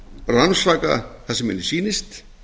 rannsaka það sem henni sýnist